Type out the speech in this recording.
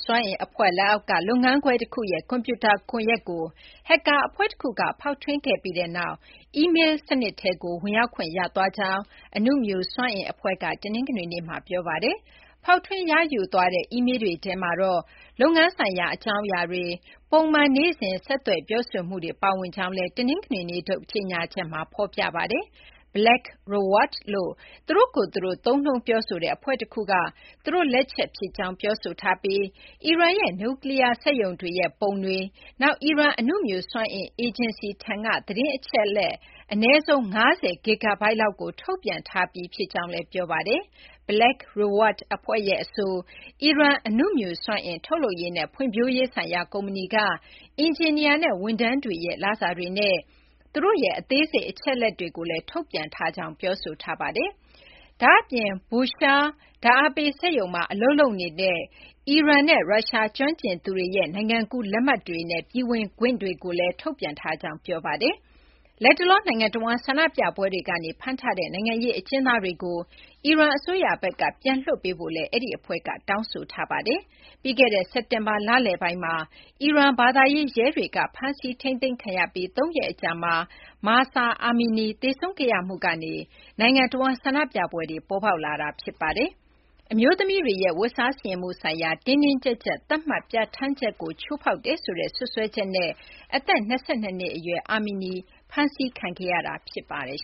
စွမ်းအင် အဖွဲ့ လက်အောက်က လုပ်ငန်းခွဲ တခုရဲ့ ကွန်ပြူတာ ကွန်ရက်ကို ဟက်ကာ အဖွဲ့ တခုက ဖောက်ထွင်းခဲ့ပြီးနောက် အီမေလ်း စနစ်ထဲကို ဝင်ရောက်ခွင့် ရသွားကြောင်း အနုမြူ စွမ်းအင် အဖွဲ့က တနင်္ဂနွေနေ့မှာ ပြောပါတယ်။ ဖောက်ထွင်း ရယူသွားတဲ့ အီမေလ်းတွေထဲမှာတော့ လုပ်ငန်းဆိုင်ရာ အကြောင်းအရာတွေ၊ ပုံမှန် နေ့စဉ် ဆက်သွယ် ပြောဆိုမှုတွေ ပါဝင်ကြောင်းလည်း တနင်္ဂနွေနေ့ထုတ် ကြေညာချက်မှာ ဖော်ပြထားပါတယ်။ Black Reward လို့ သူတို့ကိုယ်သူတို့ သုံးနှုန်း ပြောဆိုတဲ့ အဖွဲ့တခုက သူတို့ လက်ချက် ဖြစ်ကြောင်း ပြောဆိုထားပြီး အီရန်ရဲ့ နျူးကလီးယား စက်ရုံတွေရဲ့ ပုံတွေ၊ နောက် အီရန် အနုမြူစွမ်းအင် အေဂျင်စီထံက သတင်းအချက်အလက် အနည်းဆုံး ၅၀ ဂစ်ဂါဘိုက် လောက်ကို ထုတ်ပြန်ထားပြီး ဖြစ်ကြောင်းလည်း ပြောပါတယ်။ Black Reward အဖွဲ့ရဲ့ အဆို အီရန် အနုမြူစွမ်းအင် ထုတ်လုပ်ရေးနဲ့ ဖွံ့ဖြိုးရေးဆိုင်ရာ ကုမ္ပဏီက အင်ဂျင်နီယာနဲ့ ဝန်ထမ်းတွေရဲ့ လစာတွေနဲ့ သူတို့ရဲ့ အသေးစိတ် အချက်အလက်တွေကိုလည်း ထုတ်ပြန်ထားကြောင်း ပြောဆိုထားပါတယ်။ ဒါ့အပြင် Busherhr ဓာတ်အားပေး စက်ရုံမှာ အလုပ်လုပ်နေတဲ့ အီရန်နဲ့ ရုရှား ကျွမ်းကျင်သူတွေရဲ့ နိုင်ငံကူး လက်မှတ်တွေနဲ့ ပြည်ဝင်ခွင့်တွေကိုလည်း ထုတ်ပြန်ထားကြောင်း ပြောပါတယ်။ လတ်တလော နိုင်ငံတဝန်း ဆန္ဒပြပွဲတွေကနေ ဖမ်းထားတဲ့ နိုင်ငံရေး အကျဉ်းသားတွေကို အီရန် အစိုးရဘက်က ပြန်လွှတ်ပေးဖို့လည်း အဲဒီ အဖွဲ့က တောင်းဆိုထားပါတယ်။ ပြီးခဲ့တဲ့ စက်တင်ဘာလ လယ်ပိုင်းမှာ အီရန် ဘာသာရေး ရဲတွေက ဖမ်းဆီးထိန်းသိမ်းခံရပြီး သုံးရက် အကြာမှာ Mahsa Amini သေဆုံးခဲ့ရမှုကနေ နိုင်ငံတဝန်း ဆန္ဒပြပွဲတွေ ပေါ်ပေါက်လာတာပါ။ အမျိုးသမီးတွေရဲ့ ဝတ်စားဆင်ယင်မှု ဆိုင်ရာ တင်းတင်းကြပ်ကြပ် သတ်မှတ်ပြဌာန်းချက်ကို ချိုးဖောက်တယ်ဆိုတဲ့ စွပ်စွဲချက်နဲ့ အသက် ၂၂ နှစ် အရွယ် Amini ဖမ်းဆီးခံခဲ့ရတာ ဖြစ်ပါတယ်